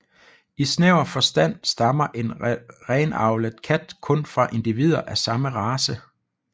I snæver forstand stammer en renavlet kat kun fra individer af samme race